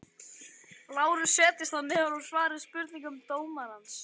LÁRUS: Setjist þá niður og svarið spurningum dómarans.